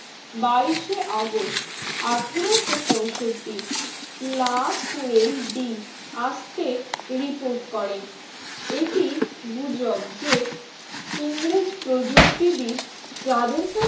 বাইশে august আঠারোশো পঁয়ষট্টি লা ফুয়েল দি আস্তে reboot করেন এটি গুজব যে ইংরেজ প্রযুক্তিবিদ যাদের